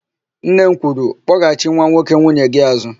Nne m kwuru, "kpọghachị nwa nwoke nwunye gị àzụ́"!